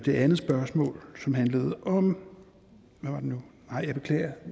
andet spørgsmål som handlede om hvad var det nu nej jeg beklager